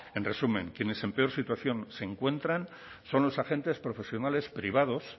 en resumen quien es en peor situación se encuentran son los agentes profesionales privados